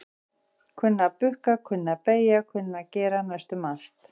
Kunna að bukka, kunna að beygja kunna að gera næstum allt.